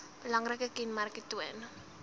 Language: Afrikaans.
belangrike kenmerke toon